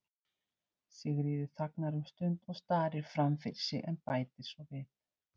Sigríður þagnar um stund og starir fram fyrir sig en bætir svo við